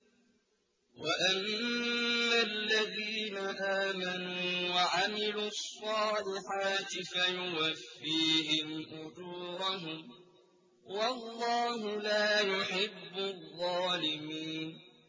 وَأَمَّا الَّذِينَ آمَنُوا وَعَمِلُوا الصَّالِحَاتِ فَيُوَفِّيهِمْ أُجُورَهُمْ ۗ وَاللَّهُ لَا يُحِبُّ الظَّالِمِينَ